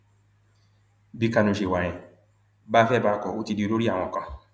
bí kánú ṣe wà yẹn bá a fẹ bá a kó o ti di olórí àwọn kan